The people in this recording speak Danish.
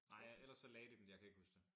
Nej ellers så lagde de dem. Jeg kan ikke huske det